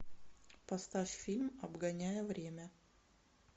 поставь фильм обгоняя время